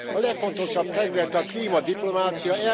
A legfontosabb terület a klímadiplomácia.